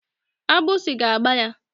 Agbụsi ga-agba ya.